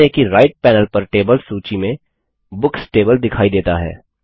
ध्यान दें कि राइट पैनल पर टेबल्स सूची में बुक्स टेबल दिखाई देता है